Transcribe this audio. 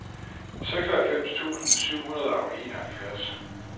seksoghalvfems tusind syv hundrede og enoghalvfjerds